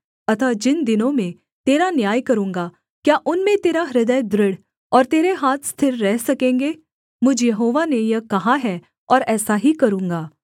अतः जिन दिनों में तेरा न्याय करूँगा क्या उनमें तेरा हृदय दृढ़ और तेरे हाथ स्थिर रह सकेंगे मुझ यहोवा ने यह कहा है और ऐसा ही करूँगा